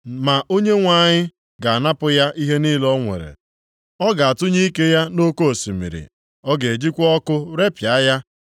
Ma Onyenwe anyị ga-anapụ ya ihe niile o nwere ọ ga-atụnye ike ya nʼoke osimiri, ọ ga-ejikwa ọkụ repịa ya.